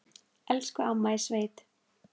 Elsku amma í sveit.